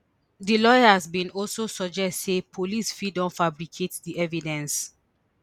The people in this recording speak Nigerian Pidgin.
di lawyers bin also suggest say police fit don fabricate di evidence